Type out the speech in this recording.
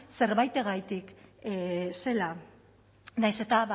zerbaitegatik zela nahiz eta